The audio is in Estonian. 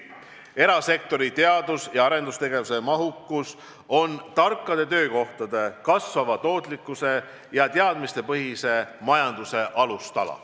Erasektori teadus- ja arendustegevuse mahukus on tarkade töökohtade, kasvava tootlikkuse ja teadmistepõhise majanduse alustala.